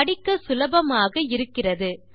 படிக்க சுலபமாக இருக்கிறது